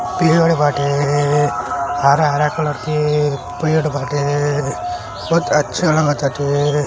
पेड़ बाटे। हरा-हरा कलर के पेड़ बाटे। बहुत अच्छा लगत बाटे।